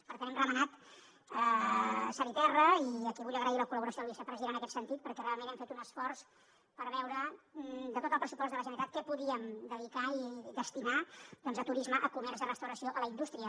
per tant hem remenat cel i terra i aquí vull agrair la col·laboració del vicepresident en aquest sentit perquè realment hem fet un esforç per veure de tot el pressupost de la generalitat què podíem dedicar i destinar doncs a turisme a comerç a restauració a la indústria